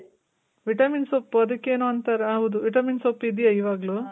vitamin ಸೊಪ್ಪು ಅದಕ್ಕೇನೋ ಅಂತಾರೆ, ಹೌದು vitamin ಸೊಪ್ಪು ಇದ್ಯ ಇವಾಗ್ಲು?